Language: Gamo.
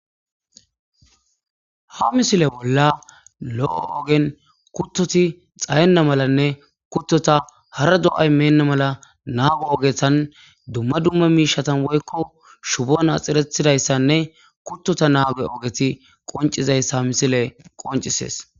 Ha misile bolla lo' o ogen kutoti xahena malanne kutota hara do'ay mena mala nago ogetan dumma dumma mishatan woyko shubon waxerethidaysanne kutota nago ogeti qincisiza misile qoncisses